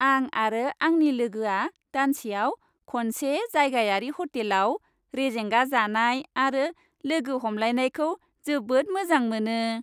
आं आरो आंनि लोगोआ दानसेयाव खनसे जायगायारि ह'टेलाव रेजेंगा जानाय आरो लोगो हमलायनायखौ जोबोद मोजां मोनो।